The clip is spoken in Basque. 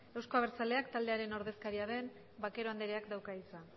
euzko abertzaleak taldearen ordezkaria den vaquero anderea dauka hitza